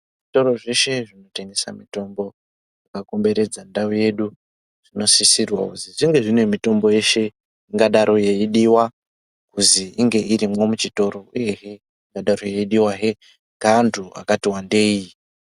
Zvitoro zveshe zvinotengesa mutombo zvakakomberedza ndau yedu zvinosisirwa zvizi zvinge mitombo yeshe ingadaro yeidiwa kuti inge irimwo muchitoro uyehe ingadaro yeidiwahe ngeaantu vakati wandei.